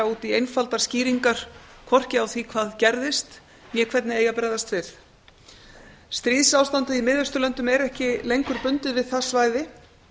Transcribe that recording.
út í einfaldar skýringar hvorki á því hvað gerðist né hvernig eigi að bregðast við stríðsástandið í mið austurlöndum er ekki lengur bundið við það svæði